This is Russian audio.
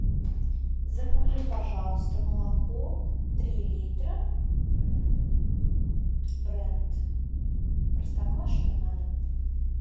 закажи пожалуйста молоко три литра бренд простоквашино на дом